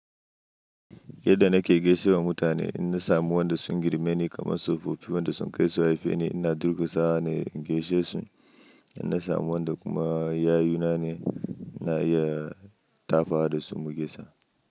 Yadda nake gaishe da mutane, idan na samu wanda sun girme ni kamar tsofaffi wanda sun kai su haife ni, ina durƙusawa ne in gaishe su. Idan na samu wanda kuma yayuna ne, ina iya tafawa da su mu gaisa.